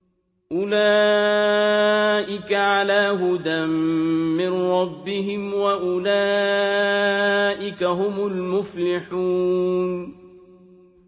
أُولَٰئِكَ عَلَىٰ هُدًى مِّن رَّبِّهِمْ ۖ وَأُولَٰئِكَ هُمُ الْمُفْلِحُونَ